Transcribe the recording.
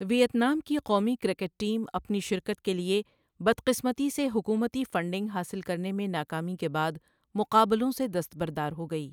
Vietnam کی قومی cricket team اپنی شرکت کے لیے بدقسمتی سے حکومتی فنڈنگ حاصل کرنے میں ناکامی کے بعد مقابلوؔں سے دستبردار ہوگئیی